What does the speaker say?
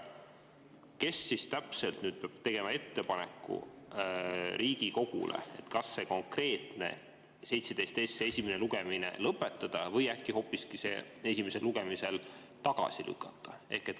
Kes täpselt peab tegema ettepaneku Riigikogule, et see konkreetne seaduseelnõu 17 esimene lugemine lõpetada või äkki hoopis see esimesel lugemisel tagasi lükata?